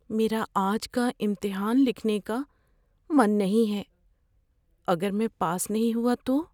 میرا آج کا امتحان لکھنے کا من نہیں ہے۔ اگر میں پاس نہیں ہوا تو؟